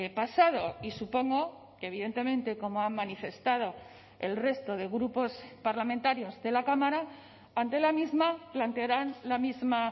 pasado y supongo que evidentemente como han manifestado el resto de grupos parlamentarios de la cámara ante la misma plantearán la misma